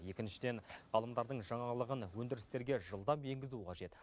екіншіден ғалымдардың жаңалығын өндірістерге жылдам енгізу қажет